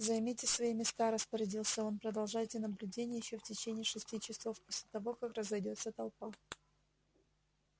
займите свои места распорядился он продолжайте наблюдение ещё в течение шести часов после того как разойдётся толпа